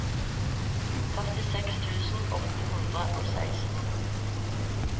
førtiseks tusen åtte hundre og seksten